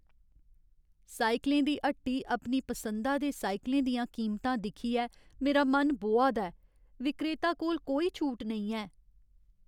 साइकलें दी हट्टी अपनी पसंदा दे साइकलें दियां कीमतां दिक्खियै मेरा मन बौहा दा ऐ । विक्रेता कोल कोई छूट नेईं ऐ।